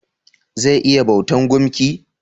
Zai iya bautan gumki?